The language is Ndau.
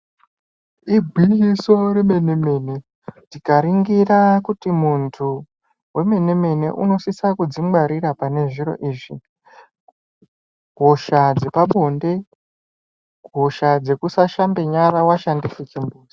Igwinyiso remene-mene, tikaningira muntu wemene-mene unosisa kudzingwarira panezviro izvi, hosha dzepabonde, hosha dzekusashambe nyara washandise chimbuzi.